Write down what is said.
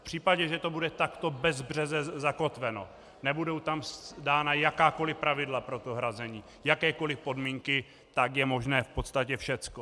V případě, že to bude takto bezbřeze zakotveno, nebudou tam dána jakákoli pravidla pro to hrazení, jakékoli podmínky, tak je možné v podstatě všecko.